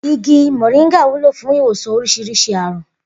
Igi mò̩ríńgà wúlò fún ìwòsàn orís̩irís̩i àrùn